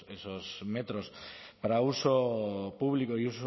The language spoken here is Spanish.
esos metros para uso público y